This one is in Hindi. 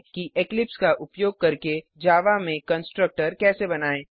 कि इक्लिप्स का उपयोग करके जावा में कंस्ट्रक्टर कैसे बनाएँ